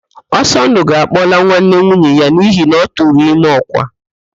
Ọsọndụ ga-akpọla nwanne nwunye ya n'ihi na ọ tụrụ ime ọ́kwà